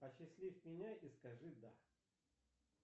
осчастливь меня и скажи да